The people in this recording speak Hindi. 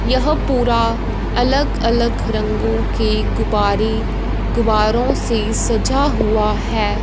यह पूरा अलग अलग रंगों के गुब्बारे गुब्बारों से सजा हुआ है।